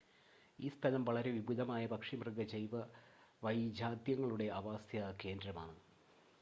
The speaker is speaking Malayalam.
ഈ സ്ഥലം വളരെ വിപുലമായ പക്ഷി മൃഗ വൈജാത്യങ്ങളുടെ ആവാസകേന്ദ്രമാണ്